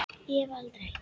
Ég hef aldrei.